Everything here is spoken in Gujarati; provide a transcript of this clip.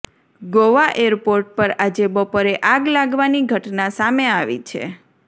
ગોવા એરપોર્ટ પર આજે બપોરે આગ લાગવાની ઘટના સામે આવી છે